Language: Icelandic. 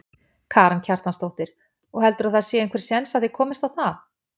Karen Kjartansdóttir: Og heldurðu að það sé einhver séns að þið komist á það?